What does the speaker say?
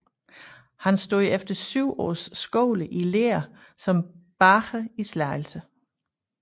Han stod efter syv års skole i lære som bager i Slagelse